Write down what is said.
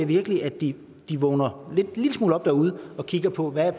virkelig at de vågner en lille smule op derude og kigger på hvad